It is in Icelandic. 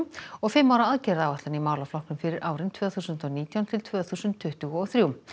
og fimm ára aðgerðaáætlun í málaflokknum fyrir árin tvö þúsund og nítján til tvö þúsund tuttugu og þrjú